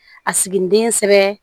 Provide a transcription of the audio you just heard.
A siginiden sɛbɛ